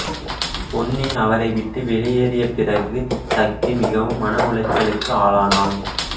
பொன்னி அவரை விட்டு வெளியேறிய பிறகு சக்தி மிகவும் மன உளைச்சலுக்கு ஆளானாள்